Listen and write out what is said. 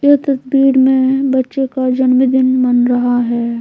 यह तस्वीर में बच्चे का जन्म दिन मन रहा है।